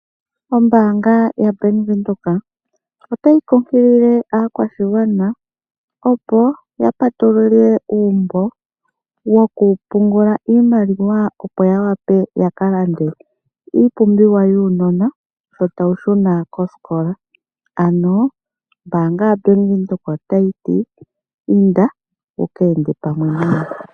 Ombaanga yaBank Windhoek otayi kunkilile aakwashigwana, opo ya patulule uumbo wokupungula iimaliwa opo ya wape ya ka lande iipumbiwa yuunona shi tawu shuna kosikola. Ombaanga yaBank Windhoek otayi ti: "Inda wu ka ende pamwe nayo."